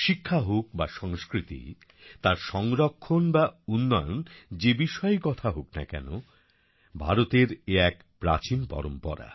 শিক্ষা হোক বা সংস্কৃতি তার সংরক্ষণ বা উন্নয়ন যে বিষয়েই কথা হোক না কেন ভারতের এ এক প্রাচীন পরম্পরা